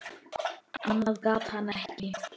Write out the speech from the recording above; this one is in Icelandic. Annað gat hann ekki.